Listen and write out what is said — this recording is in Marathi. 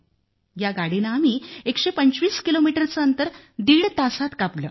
या गाडीने आम्ही 125 किलोमीटरचं अंतर दीड तासात कापलं